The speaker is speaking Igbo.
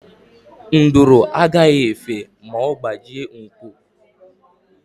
Nduru agaghị efe ma ọ gbajie nku.